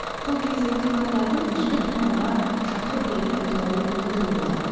сол кезде оқырмандардың кешкі думанға шақыру билетін ұтып алу мүмкіндігі болады